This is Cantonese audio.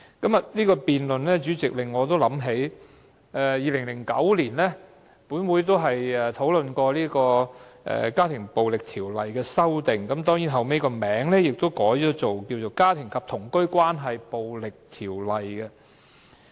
主席，此項辯論令我想起2009年本會曾討論《家庭暴力條例》的修訂，該條例後來改稱為《家庭及同居關係暴力條例》。